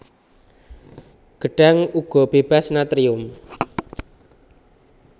Gedhang uga bébas natrium